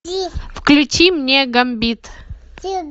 включи мне гамбит